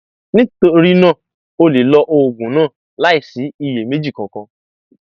nítorí náà o lè lo oògùn náà láìsí iyèméjì kankan